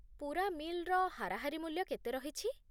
ପୂରା ମିଲ୍‌ର ହାରାହାରି ମୂଲ୍ୟ କେତେ ରହିଛି?